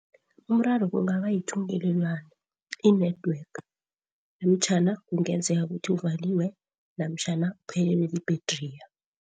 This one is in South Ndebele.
Umraro kungaba yithungelelwano i-network namtjhana kungenzeka ukuthi uvaliwe namtjhana uphelelwe i-battery.